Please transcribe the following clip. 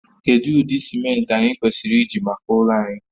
Kedu ụdị simenti anyị kwesịrị iji maka ụlọ anyị?